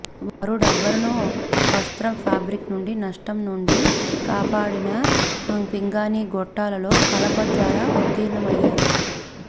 వారు రబ్బరును వస్త్రం ఫాబ్రిక్ నుండి నష్టం నుండి కాపాడిన పింగాణీ గొట్టాలలో కలప ద్వారా ఉత్తీర్ణమయ్యారు